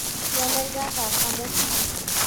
Cĩana ĩrathaka mũbĩra.